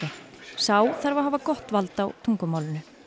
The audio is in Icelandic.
sá þarf að hafa gott vald á tungumálinu